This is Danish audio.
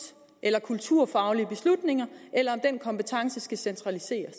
eller kulturfaglige beslutninger eller om den kompetence skal centraliseres